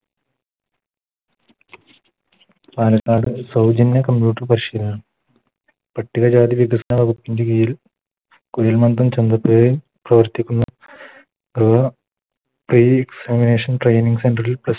പാലക്കാട് സൗജന്യ Computer പരിശീലനം പട്ടിക ജാതി വികസന വകുപ്പിൻറെ കീഴിൽ കുഴിൽ മന്തം ചന്തപുഴയിൽ പ്രവർത്തിക്കുന്നു Free examination training center ൽ Plu stwo